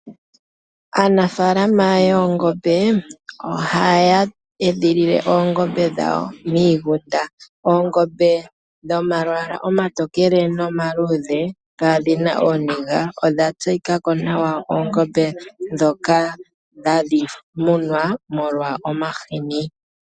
Aanafaalama yoongombe oha ya edhilile oongombe dhawo miigunda. Oongombe dhomalwaala omatokele nomaluudhe kaa dhi na ooniga odha tseyika ko nawa oongombe dhoka hadhi munwa molwa omahini.